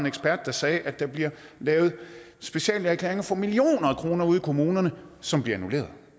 ekspert der sagde at der bliver lavet speciallægeerklæringer for millioner af kroner ude i kommunerne som bliver annulleret